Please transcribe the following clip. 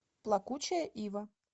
плакучая ива